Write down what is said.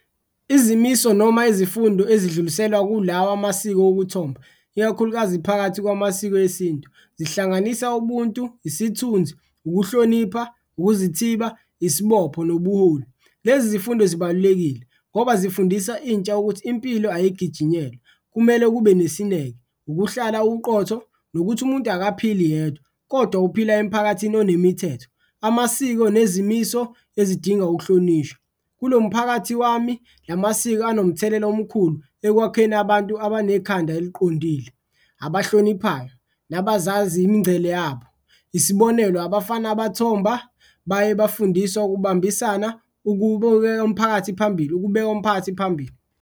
Izimiso noma izifundo ezidluliselwa kulawa amasiko okuthomba ikakhulukazi phakathi kwamasiko esintu, zihlanganisa ubuntu, isithunzi, ukuhlonipha, ukuzithiba, isibopho nobuholi. Lezi zifundo zibalulekile ngoba zifundisa intsha ukuthi impilo ayigijinyelwa kumele kube nesineke, ukuhlala uqotho nokuthi umuntu akaphili yedwa kodwa uphila emphakathini onemithetho, amasiko nezimiso ezidinga ukuhlonishwa. Kulo mphakathi wami la masiko anomthelela omkhulu ekwakheni abantu abanekhanda eliqondile, abahloniphayo nabazazi imingcele yabo, isibonelo, abafana abathomba baye bafundiswa ukubambisana umphakathi phambili, ukubeka umphakathi phambili.